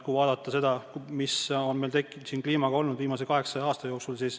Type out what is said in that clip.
Vaadake, mis on kliimaga toimunud viimase 800 aasta jooksu.